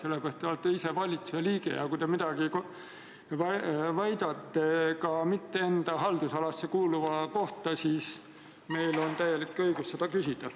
Te olete valitsuse liige ja kui te väidate midagi ka mitte enda haldusalasse kuuluva kohta, siis meil on täielik õigus selle kohta küsida.